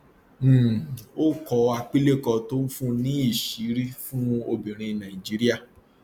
um ó kọ àpilẹkọ tó ń fún ní ìṣìírí fún obìnrin nàìjíríà